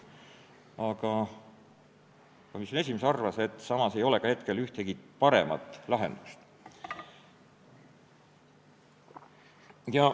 Aga komisjoni esimees arvas, et hetkel ei ole ühtegi paremat lahendust.